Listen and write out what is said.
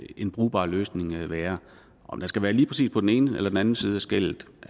en brugbar løsning kan være om den skal være lige præcis på den ene eller den anden side af skellet